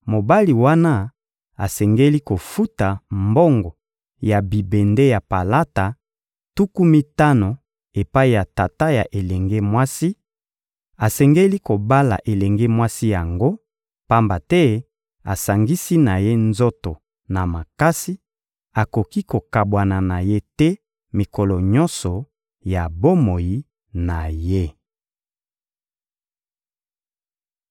mobali wana asengeli kofuta mbongo ya bibende ya palata, tuku mitano epai ya tata ya elenge mwasi, asengeli kobala elenge mwasi yango; pamba te asangisi na ye nzoto na makasi: akoki kokabwana na ye te mikolo nyonso ya bomoi na ye.